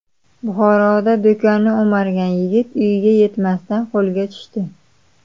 Buxoroda do‘konni o‘margan yigit uyiga yetmasdan qo‘lga tushdi.